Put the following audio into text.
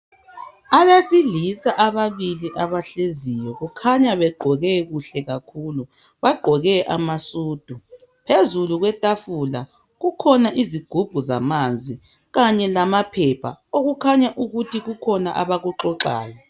Abesilisa ababili abahleziyo, kukhanya begqoke kuhle kakhulu. Bagqoke amasudu .Phezulu kwetafula kukhona izigubhu zamanzi kanye lamaphepha okukhanya ukuthi kukhona abakuxoxayo.